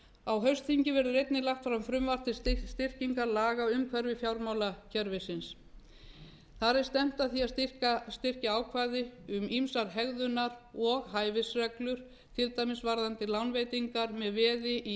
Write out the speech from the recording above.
á haustþingi verður einnig lagt fram frumvarp til styrkingar laga umhverfis fjármálakerfisins þar er stefnt að því að styrkja ákvæði um ýmsa hegðunar og hæfisreglur til dæmis varðandi reglur um lánveitingar með veði í